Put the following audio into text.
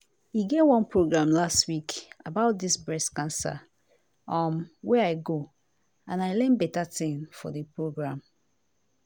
e get one program last week about dis breast cancer um wey i go and i learn beta tin for di program.